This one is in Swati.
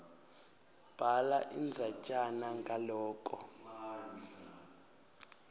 bhala indzatjana ngaloko